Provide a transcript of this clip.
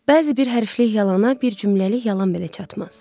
Bəzi bir hərflik yalana bir cümləlik yalan belə çatmaz.